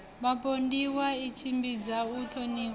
vhapondiwa i tshimbidza u thomiwa